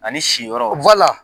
Ani si yɔrɔ .